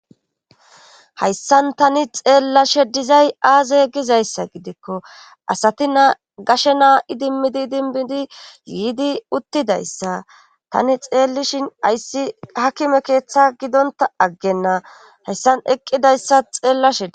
Hayssan tani xeellashe dizay aaze gizayssa gidikko asati naa gashe naa7i dimmidi dinbidi yiidi uttidayssa tani xeellishin ayssi hakime keeththa gidonta aggenna hayssan eqqidayssa xeellashei